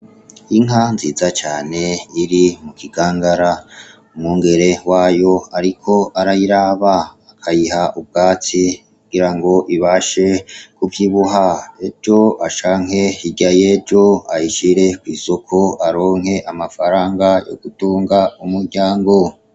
Inka nziza cane iri mu kigangara. Umwungere wayo ariko arayiraba, ayiha ubwatsi kugira ngo ibashe kuvyibuha, ejo canke hirya y'ejo aronke amafaranga yo gutunga umuryango.